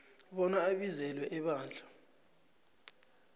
bona abizelwe ebandla